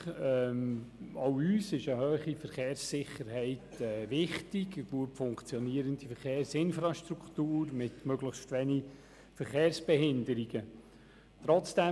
Auch uns ist eine höhere Verkehrssicherheit und eine gut funktionierende Verkehrsinfrastruktur mit möglichst wenig Verkehrsbehinderungen wichtig.